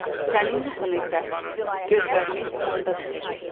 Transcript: sənin yuxun isə gözlərini yumanda bitəcək.